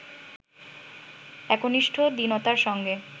একনিষ্ঠ দীনতার সঙ্গে